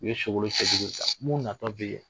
U ye Sogolon cɛjugu ta segin ta mun natɔ bɛ yen